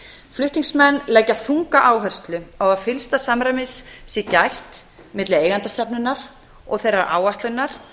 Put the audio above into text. flutningsmenn leggja þunga áherslu á að fyllsta samræmis sé gætt milli eigendastefnunnar og þeirrar áætlunar